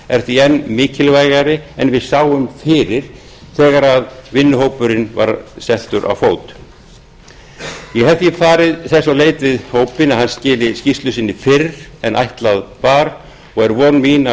er því enn mikilvægari en við sáum fyrir þegar vinnuhópnum var komið á fót ég hef því farið þess á leit við hópinn að hann skili skýrslu sinni fyrr en ætlað var og er von mín að